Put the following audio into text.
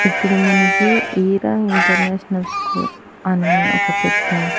ఇక్కడ మనకి Eera international school అనే ఒక పెద్ద --